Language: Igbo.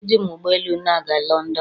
eji m ụgbọ elu na-aga London.